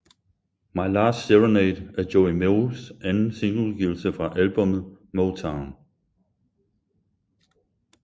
My Last Serenade er Joey Moes anden singleudgivelse fra albummet MoeTown